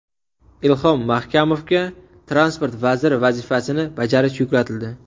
Ilhom Mahkamovga transport vaziri vazifasini bajarish yuklatildi.